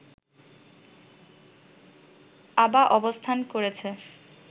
অ্যাবা অবস্থান করেছে